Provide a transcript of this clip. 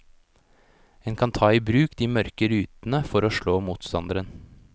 En kan ta i bruk de mørke rutene for å slå motstanderen.